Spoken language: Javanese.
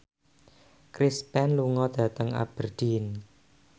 Chris Pane lunga dhateng Aberdeen